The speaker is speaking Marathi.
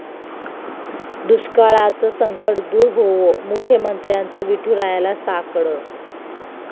दुष्काळाचं संकट दूर होवो, मुख्यमंत्र्यांचं विठुरायाला साकडं